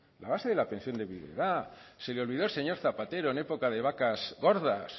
la base de la pensión de viudedad se le olvidó al señor zapatero en época de vacas gordas